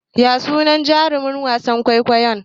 Ya sunan jaruman wasan kwaikwayon?